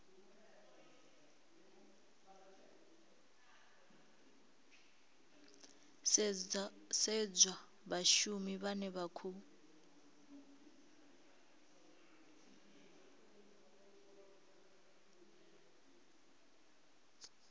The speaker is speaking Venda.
sedzwa vhashumi vhane vha khou